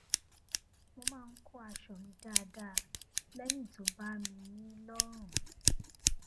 mo máa ń kó aṣọ mi dáadáa lẹyìn tó bá mi ní lọrùn